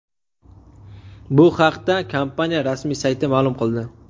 Bu haqda kompaniya rasmiy sayti ma’lum qildi .